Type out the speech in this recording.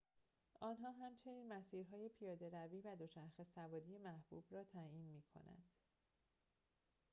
آنها همچنین مسیر‌های پیاده‌روی و دوچرخه سواری محبوب را تعیین می کنند